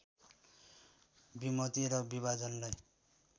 विमति र विभाजनलाई